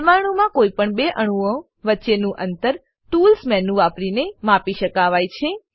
પરમાણુમાં કોઈપણ બે અણુઓ વચ્ચેનું અંતર ટૂલ્સ મેનુ વાપરીને માપી શકાય છે